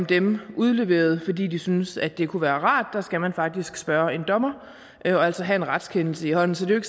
dem udleveret fordi de synes at det kunne være rart der skal man faktisk spørge en dommer og altså have en retskendelse i hånden så det